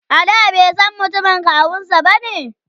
a da baisan mutumin kawunsa bane?